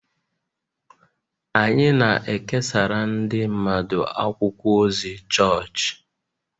Anyị na-ekesara ndị mmadụ akwụkwọ ozi chọọchị